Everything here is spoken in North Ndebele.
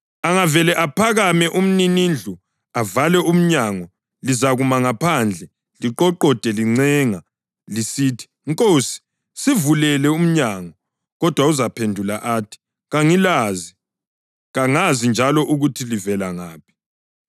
Angavele aphakame umninindlu avale umnyango lizakuma phandle liqoqode lincenga lisithi, ‘Nkosi, sivulele umnyango.’ Kodwa uzaphendula athi, ‘Kangilazi, kangazi njalo ukuthi livela ngaphi.’